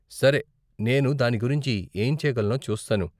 సరే, నేను దాని గురించి ఏం చేయగలనో చూస్తాను.